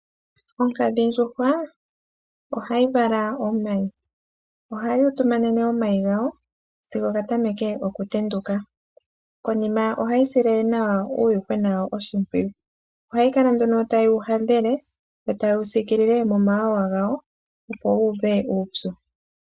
Onkadhindjuhwa ohayi vala omayi ohayi utumanene omayi gayo sigo ga tameke okutenduka konima ohayi sile uuyuhwena wayo oshimpwiyu ohayi kala tawu yi hadhele nokuyi siikila momawawa gayo opo kaayi uve uupye.